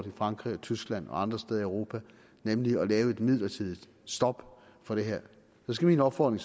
i frankrig tyskland og andre steder i europa nemlig at lave et midlertidigt stop for det her skal min opfordring